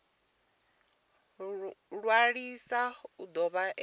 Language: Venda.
ṅwalisa u do vha e